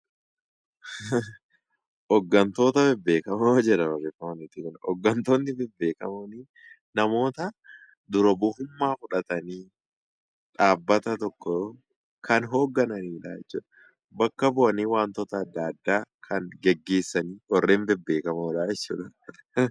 Hooggantoonni beekamoon namoota dur oromummaa fudhatanii dhaabbata tokko kan hoogganan bakka bu'anii wantoota adda addaa kan gaggeessan warreen bebbeekamoodha jechuudha.